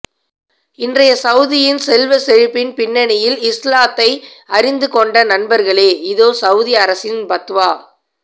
இன்றைய சவூதியின் செல்வச்செழுப்பின் பின்னணியில் இஸ்லாத்தை அறிந்து கொண்ட நண்பர்களே இதோ சவூதி அரசின் பத்வா